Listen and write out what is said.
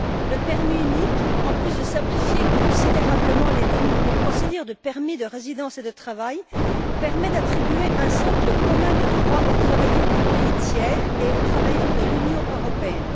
Le permis unique, en plus de simplifier considérablement les procédures de permis de résidence et de travail, permet d'attribuer un socle commun de droits aux travailleurs des pays tiers et aux travailleurs de l'Union européenne.